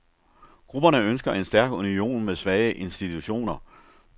Grupperne ønsker en stærk union med svage institutioner.